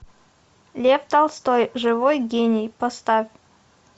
лев толстой живой гений поставь